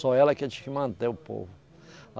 Só ela que tinha que manter o povo.